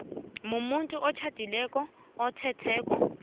mumuntu otjhadileko athethene